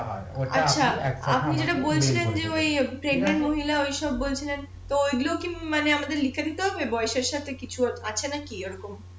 আচ্ছা আপনি যেটা বলছিলেন যে ঐ মহিলা ঐসব বলছিলেন তো এগুলো কি আপনার লিখে দিতে হবে বয়সের সাথে কিছু আছে না কি এরকম